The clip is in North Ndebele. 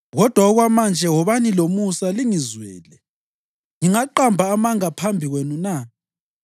Kodwa okwamanje wobani lomusa lingizwele. Ngingaqamba amanga phambi kwenu na?